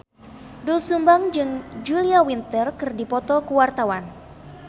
Doel Sumbang jeung Julia Winter keur dipoto ku wartawan